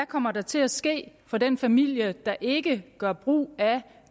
kommer der til at ske for den familie der ikke gør brug af